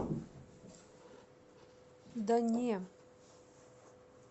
да не